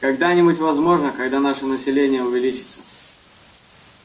когда-нибудь возможно когда наше население увеличится